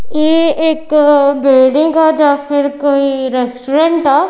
ਇਹ ਇੱਕ ਬਿਲਡਿੰਗ ਆ ਜਾਂ ਫਿਰ ਕੋਈ ਰੈਸਟੋਰੈਂਟ ਆ।